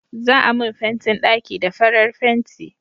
za a mun fentin ɗaki da farar fenti